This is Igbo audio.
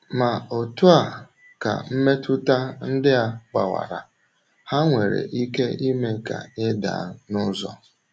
Ma otu a ka mmetụta ndị a gbawara, ha nwere ike ime ka ị daa n’ụzọ.